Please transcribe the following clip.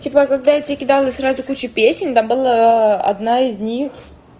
типа когда я тебе кидала сразу кучу песен там была одна из них